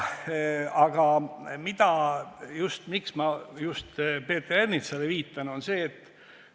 Aga miks ma just Peeter Ernitsale viitan?